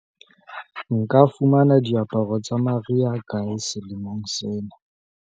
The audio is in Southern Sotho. nka fumana diaparo tsa mariha kae selemong sena